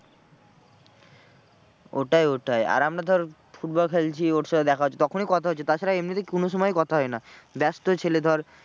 ওটাই ওটাই আর আমরা ধর football খেলছি ওর সাথে দেখা হচ্ছে তখনই কথা হচ্ছে তা ছাড়া এমনিতে কোনো সময়ই কথা হয় না। ব্যস্ত ছেলে ধর।